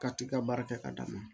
Ka t'i ka baara kɛ ka d'a ma